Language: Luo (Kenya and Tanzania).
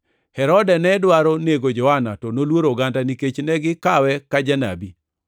Herode ne dwaro nego Johana, to noluoro oganda nikech ne gikawe kaka janabi.